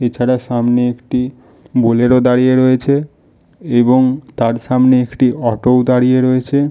এছাড়া সামনে একটি বুলেরো দাঁড়িয়ে রয়েছে এবং তার সামনে একটি অটো -ও দাঁড়িয়ে রয়েছে--